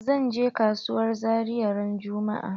Zan je kasuwar zaria ran juma'a.